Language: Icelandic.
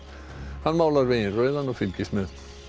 hann málar veginn rauðan og fylgist með